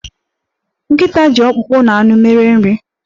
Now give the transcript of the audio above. Nkịta ji ọkpụkpọ na anụ mere nri.